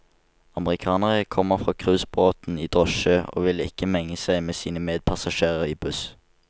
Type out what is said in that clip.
Amerikanere kommer fra cruisebåten i drosje, og vil ikke menge seg med sine medpassasjerer i buss.